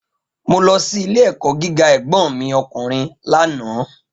Mo lọ sí ilé-ẹ̀kọ́ gíga ẹ̀gbọ́n mi ọkùnrin lánàá